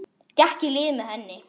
Gekk í lið með henni.